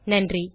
நன்றி